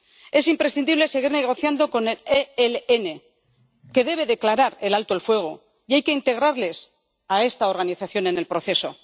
Es imprescindible seguir negociando con el ELN, que debe declarar el alto el fuego, y hay que integrar a esta organización en el proceso.